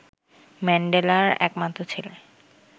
ম্যান্ডেলার একমাত্র ছেলে